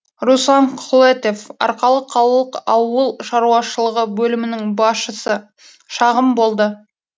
руслан құлетов арқалық қалалық ауыл шаруашылығы бөлімінің басшысы шағым болды